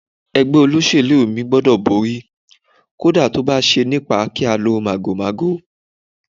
Ẹgbẹ́ olóṣèlú mi gbúdọ̀ borí, kódà tó bá ṣe nípa kí á lo màgòmágó.